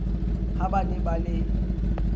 ha ba ne ba le